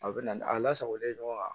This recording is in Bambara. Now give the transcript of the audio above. A bɛ na a lasagolen ɲɔgɔn na